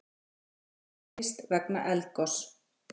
Flugi aflýst vegna eldgoss